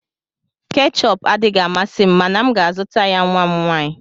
Keechup adịghị amasị m mana m ga-azụta ya nwa m nwanyị.